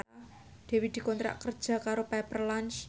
Dewi dikontrak kerja karo Pepper Lunch